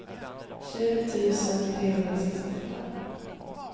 tjugoett tusen trehundrasextioåtta